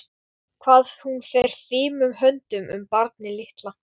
Hvað hún fer fimum höndum um barnið litla.